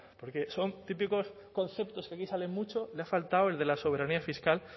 porque son típicos conceptos que aquí salen mucho le faltado el de la soberanía fiscal